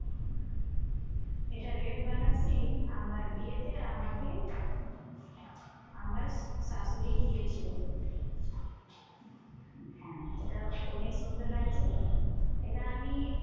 এটা red বেনারসি। আমার বিয়েতে আমাকে আমার শাশুড়ি দিয়েছিল। হ্যাঁ এটা অনেক সুন্দর লাগছে এটা আমি